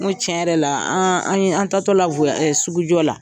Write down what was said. Ko tiɲɛ yɛrɛ la an an ye an tatɔ la sugujɔ la